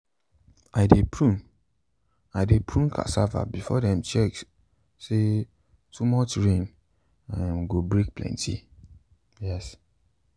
i dey prune i dey prune cassava before dem check say to much rain um go break plenty. um